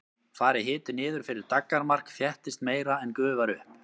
fari hiti niður fyrir daggarmark þéttist meira en gufar upp